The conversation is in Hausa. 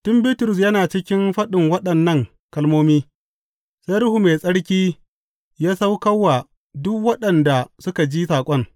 Tun Bitrus yana cikin faɗin waɗannan kalmomi, sai Ruhu Mai Tsarki ya sauka wa duk waɗanda suka ji saƙon.